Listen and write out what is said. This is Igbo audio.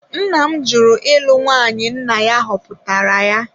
Nna m jụrụ ịlụ nwaanyị nna ya họpụtara ya.